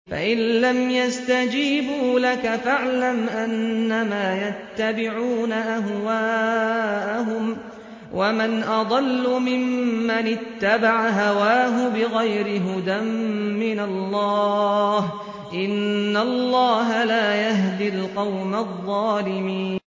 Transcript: فَإِن لَّمْ يَسْتَجِيبُوا لَكَ فَاعْلَمْ أَنَّمَا يَتَّبِعُونَ أَهْوَاءَهُمْ ۚ وَمَنْ أَضَلُّ مِمَّنِ اتَّبَعَ هَوَاهُ بِغَيْرِ هُدًى مِّنَ اللَّهِ ۚ إِنَّ اللَّهَ لَا يَهْدِي الْقَوْمَ الظَّالِمِينَ